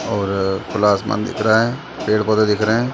और खुला आसमान दिख रहा है पेड़ - पोधे दिख रहे है।